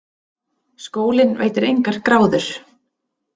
Skólinn veitir engar gráður.